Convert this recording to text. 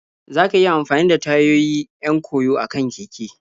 za ka iya amfani da tayoyi 'yan koyo akan keke.